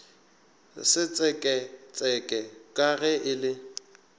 setseketseke ka ge e le